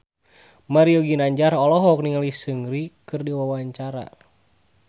Mario Ginanjar olohok ningali Seungri keur diwawancara